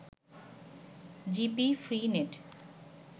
GP free net